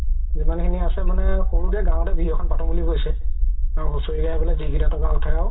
যিমাম খিনি আছে মানে সৰুকে গাওতে বিহু এখন পাতো বুলি কৈছে হুচৰি গাই যি কেইটা তকা উথে আৰু